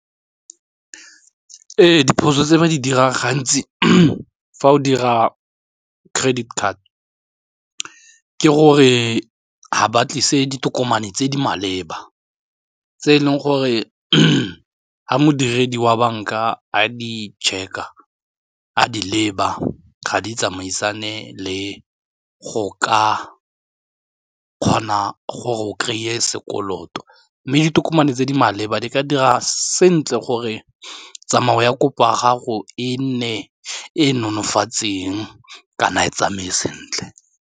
Ee, diphoso tse ba di dirang gantsi fa o dira credit card ke gore ga ba tlise ditokomane tse di maleba tse e leng gore ga modiredi wa banka a di check-a a di leba ga di tsamaisane le go ka kgona gore o kry-e sekoloto mme ditokomane tse di maleba di ka dira sentle gore tsamayo ya kopo ya gago e nne e nonofatseng kana e tsamaye sentle.